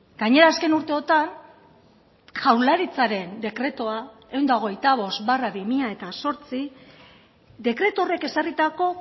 gainera azken urteotan jaurlaritzaren dekretua ehun eta hogeita bost barra bi mila zortzi dekretu horrek ezarritako